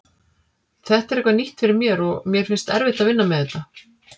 Þetta er eitthvað nýtt fyrir mér og mér finnst erfitt að vinna með þetta.